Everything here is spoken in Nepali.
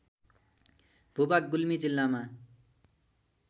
भूभाग गुल्मी जिल्लामा